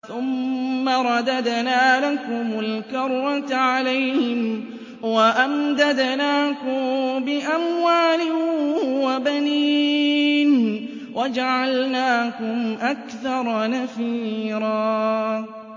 ثُمَّ رَدَدْنَا لَكُمُ الْكَرَّةَ عَلَيْهِمْ وَأَمْدَدْنَاكُم بِأَمْوَالٍ وَبَنِينَ وَجَعَلْنَاكُمْ أَكْثَرَ نَفِيرًا